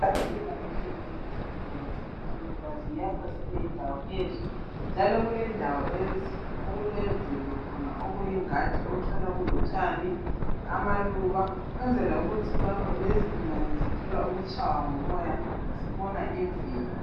Ezempilakahle ezinjenge zibhedlela lasemakilinika ziyakhwa zibe yindawo enhle njalo kulendawo lezi okulemvelo khona okuyingadi othola kulotshani, amaluba ukwenzela ukuthi lezigulane zithole ukutshaya ngumoya zibona imvelo.